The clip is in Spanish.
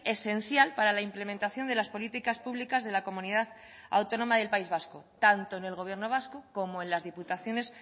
esencial para la implementación de las políticas públicas de la comunidad autónoma del país vasco tanto en el gobierno vasco como en las diputaciones